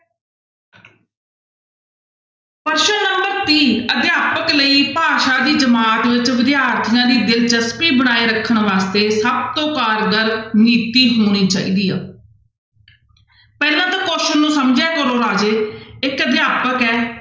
ਪ੍ਰਸ਼ਨ number ਤੀਹ ਅਧਿਆਪਕ ਲਈ ਭਾਸ਼ਾ ਦੀ ਜਮਾਤ ਵਿੱਚ ਵਿਦਿਆਰਥੀਆਂ ਦੀ ਦਿਲਚਸਪੀ ਬਣਾਈ ਰੱਖਣ ਵਾਸਤੇ ਸਭ ਤੋਂ ਕਾਰਗਰ ਨੀਤੀ ਹੋਣੀ ਚਾਹੀਦੀ ਆ ਪਹਿਲਾਂ ਤਾਂ question ਨੂੰ ਸਮਝਿਆ ਕਰੋ ਰਾਜੇ ਇੱਕ ਅਧਿਆਪਕ ਹੈ,